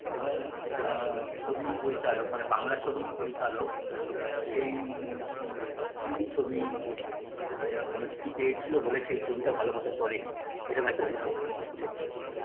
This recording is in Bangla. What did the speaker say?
এবং অ্যা ছবির পরিচালক মানে বাংলা ছবির পরিচালক আ সেইই হিন্দি ছবি ম মুক্তি পেয়েছিল বলে সেই ছবিটা ভালো মতো চলেনি এরম একটা হুজুক ও উঠেছিল